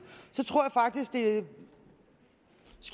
skal